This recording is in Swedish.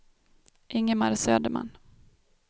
Ingemar Söderman